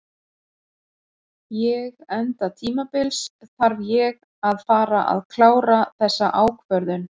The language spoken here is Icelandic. Ég enda tímabils þarf ég að fara að klára þessa ákvörðun.